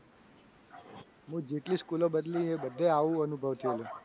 હું જેટલી સ્કૂલો બદલી એ બધી આવો અનુભવ થયેલો.